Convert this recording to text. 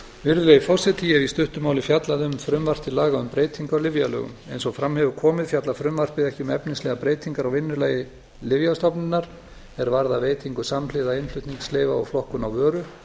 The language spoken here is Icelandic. virðulegi forseti ég hef í stuttu máli fjallað um frumvarp til laga um breytingu á lyfjalögum eins á fram hefur komið fjallar frumvarpið ekki um efnislega breytingar á vinnulagi lyfjastofnunar er varða veitingu samhliða innflutningsleyfa og flokkun á vöru